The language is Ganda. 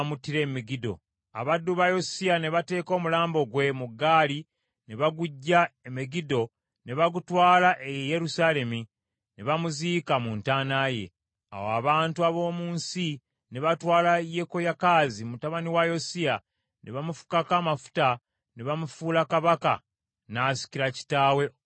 Abaddu ba Yosiya ne bateeka omulambo gwe mu gaali ne baguggya e Megiddo ne bagutwala e Yerusaalemi, ne bamuziika mu ntaana ye. Awo abantu ab’omu nsi ne batwala Yekoyakaazi mutabani wa Yosiya ne bamufukako amafuta ne bamufuula kabaka n’asikira kitaawe okuba kabaka.